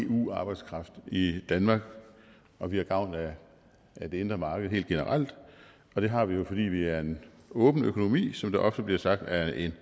af eu arbejdskraft i danmark og vi har gavn af det indre marked helt generelt og det har vi jo fordi vi er en åben økonomi som det ofte bliver sagt af en